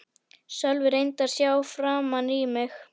Sölvi reyndi að sjá framan í mig.